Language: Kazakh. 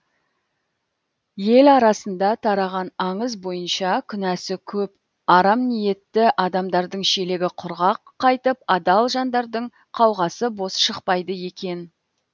ел арасында тараған аңыз бойынша күнәсі көп арам ниетті адамдардың шелегі құрғақ қайтып адал жандардың қауғасы бос шықпайды екен